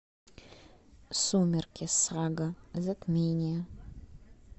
сумерки сага затмение